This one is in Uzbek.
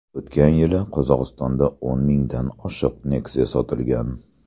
O‘tgan yili Qozog‘istonda o‘n mingdan oshiq Nexia sotilgan.